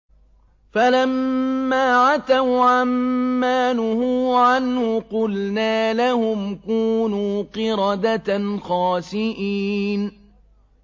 فَلَمَّا عَتَوْا عَن مَّا نُهُوا عَنْهُ قُلْنَا لَهُمْ كُونُوا قِرَدَةً خَاسِئِينَ